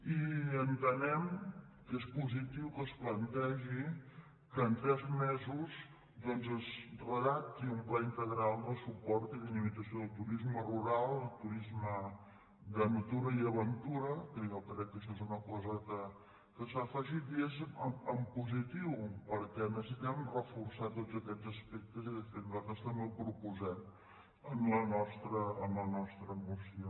i entenem que és positiu que es plantegi que en tres mesos doncs es redacti un pla integral de suport i di·namització del turisme rural del turisme de natura i aventura que jo crec que això és una cosa que s’ha afegit i és en positiu perquè necessitem reforçar tots aquests aspectes i de fet nosaltres també ho proposem en la nostra moció